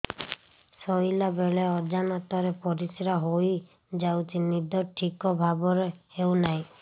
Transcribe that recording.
ଶୋଇଲା ବେଳେ ଅଜାଣତରେ ପରିସ୍ରା ହୋଇଯାଉଛି ନିଦ ଠିକ ଭାବରେ ହେଉ ନାହିଁ